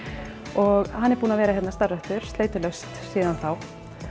og hann er búinn að vera hérna starfræktur sleitulaust síðan þá